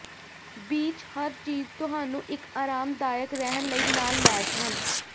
beach ਹਰ ਚੀਜ਼ ਤੁਹਾਨੂੰ ਇੱਕ ਆਰਾਮਦਾਇਕ ਰਹਿਣ ਲਈ ਨਾਲ ਲੈਸ ਹਨ